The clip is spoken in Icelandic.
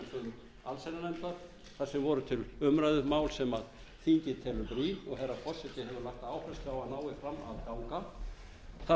allsherjarnefndar þar sem voru til umræðu mál sem þingið telur brýn og herra forseti hefur lagt áherslu á að nái fram að ganga það